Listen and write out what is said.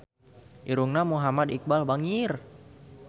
Irungna Muhammad Iqbal bangir